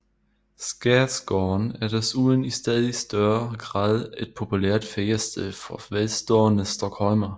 Skærgården er desuden i stadig større grad et populært feriested for velstående stockholmere